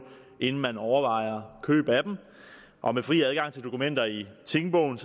inden man overvejer køb af dem og med fri adgang til dokumenter i tingbogen